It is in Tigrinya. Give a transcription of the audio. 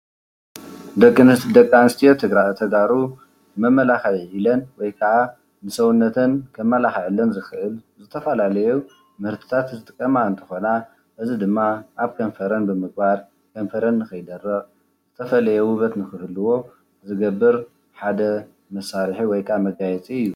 ደቂ አንስትዮ ተጋሩ ዝተፈላለየ መመላክዒ ኢለን ወይ ከአ ሰውነተን ከመላክዐለን ዝክእል ዝተፈላለዩ ምህርቲታት ዝጥቀማ እንትኮና፤ እዚ ድማ አብ ከንፈረን ብምግባር ከንፈረን ንከይደርቅ ዝተፈለየ ውበት ክህልዎ ዝገብር ሓደ መሳርሒ ወይ ከአ መጋየፂ እዩ፡፡